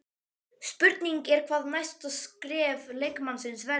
Spurning er hvað næsta skref leikmannsins verður?